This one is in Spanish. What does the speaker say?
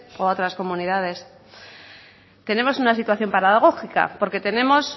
o a otras comunidades tenemos una situación paradójica porque tenemos